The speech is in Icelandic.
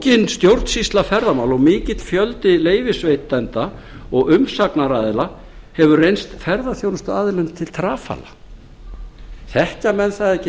flókin stjórnsýsla ferðamála og mikill fjöldi leyfisveitenda og umsagnaraðila hefur reynst ferðaþjónustuaðilum til trafala þekkja menn það ekki þegar